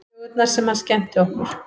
Sögurnar sem hann skemmti okkur